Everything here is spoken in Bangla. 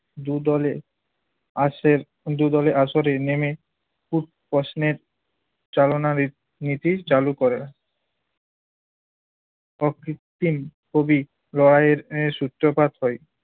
দু'দলে আসে~ দু'দলে আসরে নেমে খুব প্রশ্নের চালনা রিত~ নীতি চালু করেন। অকৃত্তিম কবি রয় এর সূত্রপাত হয়।